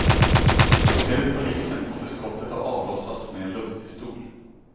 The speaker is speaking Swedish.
Enligt polisen måste skottet ha avlossats med en luftpistol.